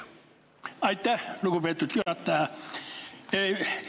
Aitäh, lugupeetud juhataja!